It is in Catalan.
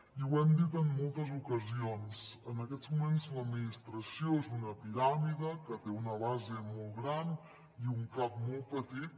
i ho hem dit en moltes ocasions en aquests moments l’administració és una piràmide que té una base molt gran i un cap molt petit